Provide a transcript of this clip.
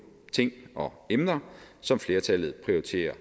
ting og emner som flertallet prioriterer